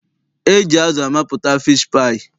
E ji azụ amapụta fiishi paayị.